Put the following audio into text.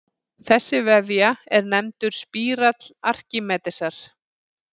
Þessi vefja er nefndur spírall Arkímedesar.